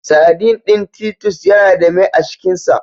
Saɗin ɗin Titus Yana da mai a cikin sa.